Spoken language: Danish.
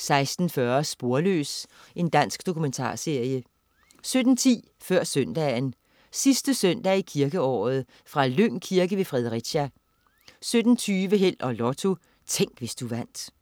16.40 Sporløs. Dansk dokumentarserie 17.10 Før Søndagen. Sidste søndag i kirkeåret. Fra Lyng Kirke ved Fredericia 17.20 Held og Lotto. Tænk, hvis du vandt